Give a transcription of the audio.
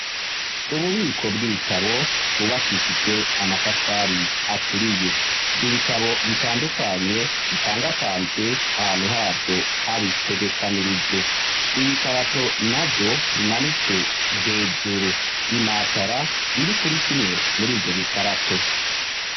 Ububiko bw'ibitabo bwubakishijwe amatafari aturiye, ibitabo bitandukanye bipangapanzwe ahantu havyo habitegekanirijwe, ibikarato na vyo bimanitswe hejuru imatara iri kuri kimwe muri ivyo bikarato.